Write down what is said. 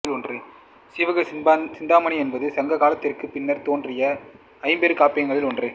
சீவக சிந்தாமணி என்பது சங்க காலத்துக்குப் பின்னர்த் தோன்றிய ஐம்பெருங்காப்பியங்களுள் ஒன்று